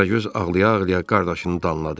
Qaragöz ağlaya-ağlaya qardaşını danladı.